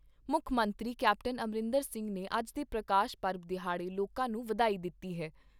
ਮੁੱਖ ਮੰਤਰੀ ਕੈਪਟਨ ਅਮਰਿੰਦਰ ਸਿੰਘ ਨੇ ਅੱਜ ਦੇ ਪ੍ਰਕਾਸ਼ ਪਰਬ ਦਿਹਾੜੇ ਲੋਕਾਂ ਨੂੰ ਵਧਾਈ ਦਿੱਤੀ ਹੈ।